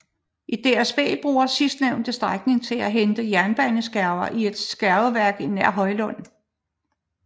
DSB brugte sidstnævnte strækning til at hente jernbaneskærver i et skærveværk nær Hjøllund